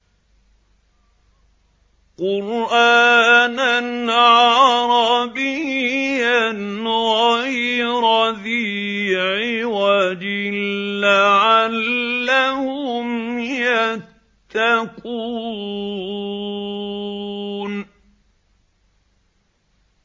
قُرْآنًا عَرَبِيًّا غَيْرَ ذِي عِوَجٍ لَّعَلَّهُمْ يَتَّقُونَ